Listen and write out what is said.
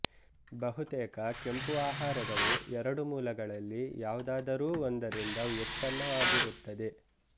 ಬಹುತೇಕ ಕೆಂಪು ಆಹಾರಗಳು ಎರಡು ಮೂಲಗಳಲ್ಲಿ ಯಾವುದಾದರೂ ಒಂದರಿಂದ ವ್ಯುತ್ಪನ್ನವಾಗಿರುತ್ತದೆ